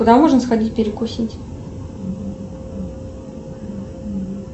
куда можно сходить перекусить